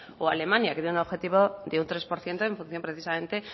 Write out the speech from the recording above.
o alemania que tiene un objetivo de un tres por ciento en función precisamente